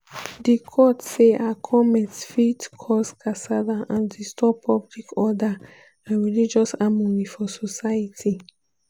di court say her comments fit cause kasala and disturb "public order" and "religious harmony" for society.